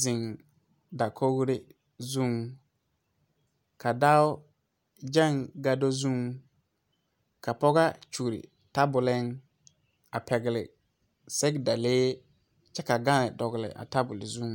zeŋ dakori zeŋ, ka ba gaŋ gado zeŋ, ka pɔge kyoli taboleŋ a pɛgele sɛge dale kyɛ ka daaŋ dɔgeli a tabol zeŋ.